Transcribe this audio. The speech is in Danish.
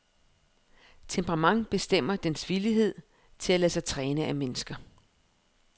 Temperamentet bestemmer dens villighed til at lade sig træne af mennesker.